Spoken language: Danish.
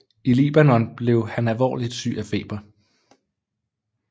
I Libanon blev han alvorligt syg af feber